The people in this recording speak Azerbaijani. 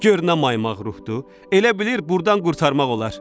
Gör nə maymaq ruhdur, elə bilir burdan qurtarmaq olar.